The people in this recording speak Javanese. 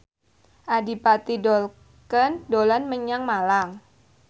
Adipati Dolken dolan menyang Malang